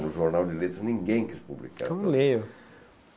No jornal de leitos, ninguém quis publicar.